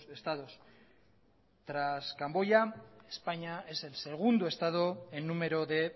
estados tras camboya españa es el segundo estado en número de